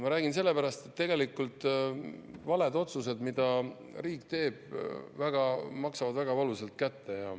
Ma räägin sellepärast, et tegelikult valed otsused, mida riik teeb, maksavad väga valusalt kätte.